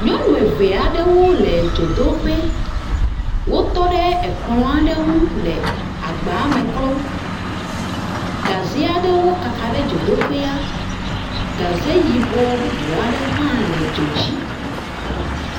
Nyɔnu eve aɖewo le dzodoƒe. Wotɔ ɖe ekplɔ aɖe ŋu le agbame klɔm. Gaze aɖewo kaka ɖe dzodoƒea. Gaze yibɔ bubu aɖewo hã le dzo dzi.